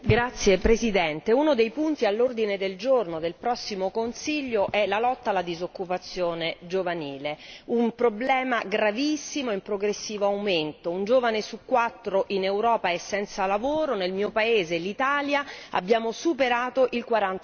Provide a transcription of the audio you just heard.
Signor Presidente, onorevoli colleghi, uno dei punti all'ordine del giorno del prossimo Consiglio è la lotta alla disoccupazione giovanile un problema gravissimo, in progressivo aumento un giovane su 4 in Europa è senza lavoro. Nel mio paese, l'Italia, abbiamo superato il